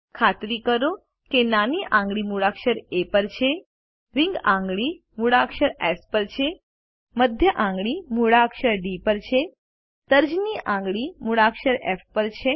ખાતરી કરો કે નાની આંગળી મૂળાક્ષર એ પર છે રીંગ આંગળી મૂળાક્ષર એસ પર છે મધ્ય આંગળી મૂળાક્ષર ડી પર છે તર્જની આંગળી મૂળાક્ષર ફ પર છે